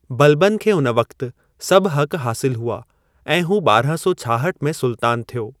बलबन खे उन वक़्ति सभ हक़ हासिलु हुआ ऐं हू ॿारहां सौ छाहठ में सुल्तानु थियो।